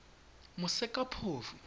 mosekaphofu